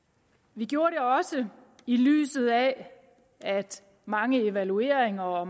vi gjorde det også i lyset af at mange evalueringer og